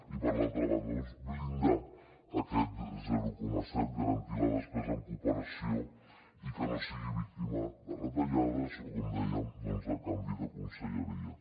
i per l’altra banda blindar aquest zero coma set garantir la despesa en cooperació i que no sigui víctima de retallades o com dèiem de canvi de conselleria